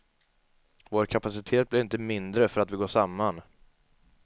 Vår kapacitet blir inte mindre för att vi går samman.